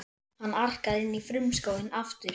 Hann arkar inn í frumskóginn aftur.